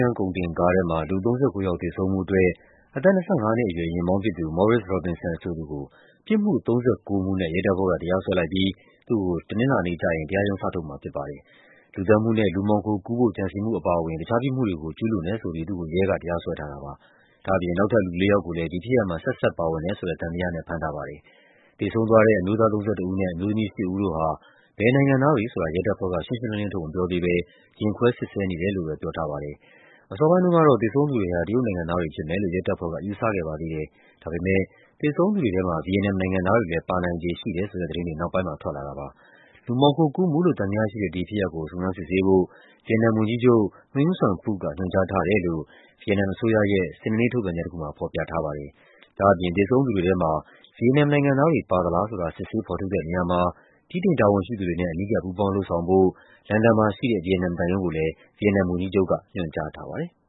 န်း ကုန်တင်ကားထဲမှာ လူ ၃၉ ယောက် သေဆုံးမှုအတွက် အသက် ၂၅ နှစ်အရွယ် ယာဉ်မောင်းဖြစ်သူ Maurice Robinson ဆိုသူကို ပြစ်မှု ၃၉ မှုနဲ့ ရဲတပ်ဖွဲ့က တရားစွဲလိုက်ပြီး သူ့ကို တနင်္လာနေ့ကျရင် တရားရုံး စထုတ်မှာဖြစ်ပါတယ်။ လူသတ်မှုနဲ့ လူမှောင်ခိုကူးဖို့ ကြံစည်မှုအပါအဝင် တခြားပြစ်မှုတွေကို ကျူးလွန်တယ်ဆိုပြီး သူ့ကို ရဲက တရားစွဲထားတာပါ။ ဒါ့အပြင် နောက်ထပ် လူလေးယောက်ကိုလည်း ဒီဖြစ်ရပ်မှာ ဆက်စပ်ပါဝင်တယ်ဆိုတဲ့ သံသယနဲ့ ဖမ်းဆီးထားပါတယ်။ သေဆုံးသွားတဲ့ အမျိုးသား ၃၁ ဦးနဲ့ အမျိုးသမီး ၈ ဦးတို့ဟာ ဘယ်နိုင်ငံသားတွေဆိုတာ ရဲတပ်ဖွဲ့က ရှင်းရှင်းလင်းလင်း ထုတ်မပြောသေးဘဲ ရင်ခွဲစစ်ဆေးနေတယ်လို့ ပြောထားပါ တယ်။ အစောပိုင်းတုန်းကတော့ သေဆုံးသူတွေဟာ တရုတ်နိုင်ငံသားတွေဖြစ်မယ်လို့ ရဲတပ်ဖွဲ့က ယူဆခဲ့ပါသေးတယ်။ ဒါပေမယ့် သေဆုံးသူတွေထဲမှာ ဗီယက်နမ်နိုင်ငံသားတွေလည်း ပါနိုင်ခြေရှိတယ်ဆိုတဲ့သတင်းတွေ နောက်ပိုင်းမှာ ထွက်လာပါတယ်။ လူမှောင်ခိုကူးမှုလို့ သံသယရှိတဲ့ ဒီဖြစ်ရပ်ကို စုံစမ်းစစ်ဆေးဖို့ ဗီယက်နမ်ဝန်ကြီးချုပ် Nguyen Xuan Phuc က ညွှန်ကြားထားတယ်လို့ ဗီယက်နမ်အစိုးရရဲ့ စနေနေ့ ထုတ်ပြန်ချက်တခုမှာ ဖော်ပြထားပါတယ်။ ဒါ့အပြင် သေဆုံးသူတွေထဲမှာ ဗီယက်နမ်နိုင်ငံ သားတွေ ပါသလားဆိုတာ စစ်ဆေးဖော်ထုတ်တဲ့နေရာမှာ ဗြိတိန်တာဝန်ရှိသူတွေနဲ့ အနီးကပ် ပူးပေါင်းလုပ်ဆောင်ဖို့ လန်ဒန်မှာရှိတဲ့ ဗီယက်နမ်သံရုံးကိုလည်း ဗီယက်နမ် ဝန်ကြီးချုပ်က ညွှန်ကြားထားပါတယ်။